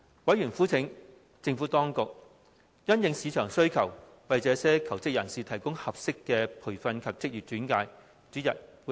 委員籲請政府當局因應市場需求，為這些求職人士提供合適的培訓及職業轉介。